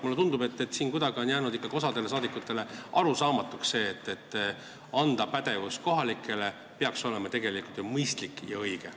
Mulle tundub, et osale rahvasaadikutest on ikkagi jäänud arusaamatuks see, et anda pädevus kohapeale on tegelikult mõistlik ja õige.